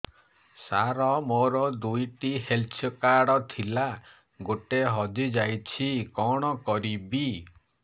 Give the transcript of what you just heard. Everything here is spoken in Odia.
ସାର ମୋର ଦୁଇ ଟି ହେଲ୍ଥ କାର୍ଡ ଥିଲା ଗୋଟେ ହଜିଯାଇଛି କଣ କରିବି